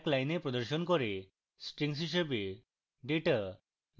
strings হিসাবে data line দর line প্রদর্শন করে